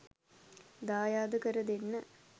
දායාද කර දෙන්න.